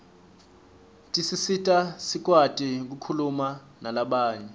tisisita sikwati kukhuma nalabanye